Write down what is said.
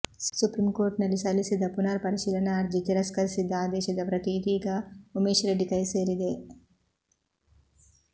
supreme ಕೋರ್ಟ್ನಲ್ಲಿ ಸಲ್ಲಿಸಿದ್ದ ಪುನರ್ ಪರಿಶೀಲನಾ ಅರ್ಜಿ ತಿರಸ್ಕರಿಸಿದ್ದ ಆದೇಶದ ಪ್ರತಿ ಇದೀಗ ಉಮೇಶ್ ರೆಡ್ಡಿ ಕೈ ಸೇರಿದೆ